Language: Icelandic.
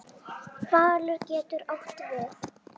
Falur getur átt við